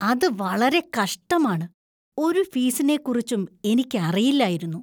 അത് വളരെ കഷ്ടമാണ്. ഒരു ഫീസിനെക്കുറിച്ചും എനിക്കറിയില്ലായിരുന്നു.